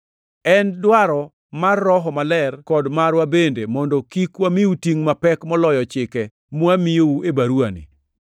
En dwaro mar Roho Maler kod marwa bende mondo kik wamiu tingʼ mapek moloyo chike mwamiyou e baruwani.